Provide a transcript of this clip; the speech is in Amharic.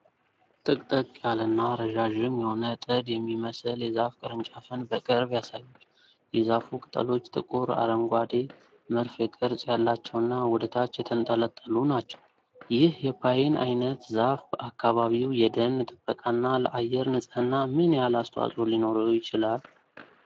ጥቅጥቅ ያለና ረዣዥም የሆነ ጥድ የሚመስል የዛፍ ቅርንጫፍን በቅርብ ያሳያል። የዛፉ ቅጠሎች ጥቁር አረንጓዴ፣ መርፌ ቅርጽ ያላቸውና ወደ ታች የተንጠለጠሉ ናቸው። ይህ የፓይን ዓይነት ዛፍ በአካባቢው የደን ጥበቃና ለአየር ንጽሕና ምን ያህል አስተዋፅዖ ሊኖረው ይችላል?